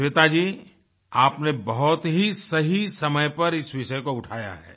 श्वेता जी आपने बहुत ही सही समय पर इस विषय को उठाया है